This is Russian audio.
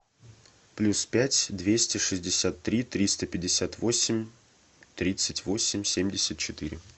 плюс пять двести шестьдесят три триста пятьдесят восемь тридцать восемь семьдесят четыре